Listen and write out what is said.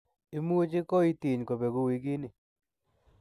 Imuch koiitiny kobeguu wigini.